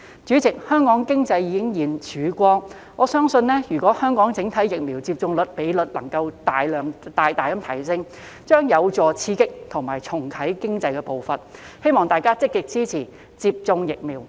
主席，香港經濟已現曙光，我相信如果香港整體疫苗接種率能夠大大提升，將有助刺激和重啟經濟的步伐，希望大家積極支持接種疫苗。